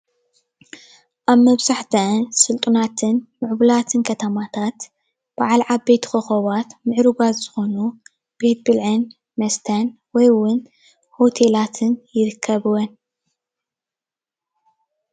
ኣብ መብዛሕተአን ስልጡናትን ሙዕቡላትን ከተማታት በዓል ዓበይቲ ኮከባት ምዑርጋት ዝኮኑ ቤት ብልዕን መስተን ወይ እውን ሆቴላትን ይርከብዎን::